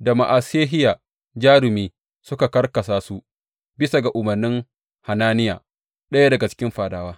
da Ma’asehiya jarumi, suka karkasa su bisa ga umarnin Hananiya, ɗaya daga cikin fadawa.